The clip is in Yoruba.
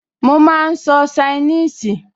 Mo máa n sọ ṣainíìsì